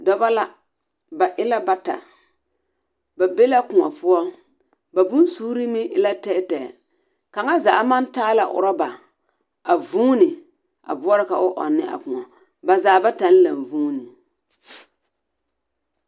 Dɔbɔ la. Ba e la bata. Ba be la kõɔ poɔ. Ba bonsuuri meŋ e la tɛɛtɛɛ. kaŋa zaa maŋ taa la orɔba, a vuuni a boɔrɔ ka o ɔŋ ne a kõɔ, ba zaa bataŋ laŋ-vuuni.